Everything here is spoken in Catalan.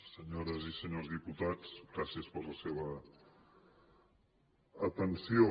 senyores i senyors diputats gràcies per la seva atenció